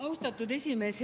Austatud esimees!